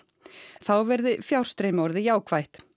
þá verði fjárstreymi orðið jákvætt